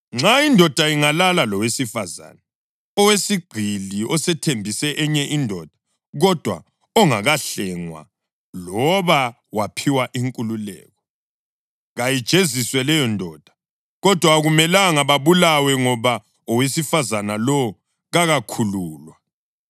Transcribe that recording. Nxa indoda ingalala lowesifazane oyisigqili osethembise enye indoda kodwa ongakahlengwa loba waphiwa inkululeko, kayijeziswe leyondoda. Kodwa akumelanga babulawe ngoba owesifazane lowo kakakhululwa.